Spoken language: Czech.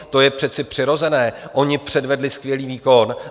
To je přece přirozené, oni předvedli skvělý výkon.